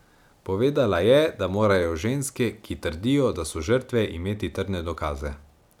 Povedala je, da morajo ženske, ki trdijo, da so žrtve, imeti trdne dokaze.